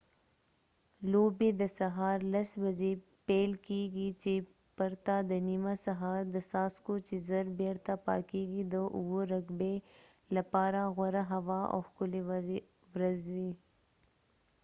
لوبې د سهار 10:00 بجې پیل کېږي چې پرته د نیمه سهار د څاڅکو چې زر بیرته پاکېږي د 7 رګبي لپاره غوره هوا او ښکلې ورځ وي